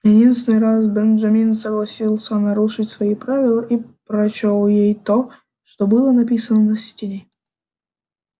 единственный раз бенджамин согласился нарушить свои правила и прочёл ей то что было написано на стене